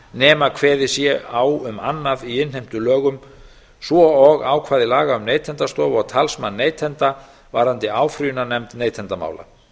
nema kveðið sé á um annað í innheimtulögum svo og ákvæði laga um neytendastofu og talsmann neytenda varðandi áfrýjunarnefnd neytendamála